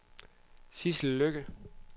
Sidsel Lykke